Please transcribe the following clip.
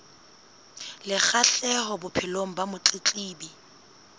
le kgahleho bophelong ba motletlebi